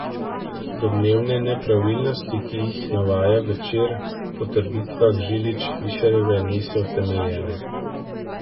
Domnevne nepravilnosti, ki jih navaja Večer, po trditvah Žilič Fišerjeve niso utemeljene.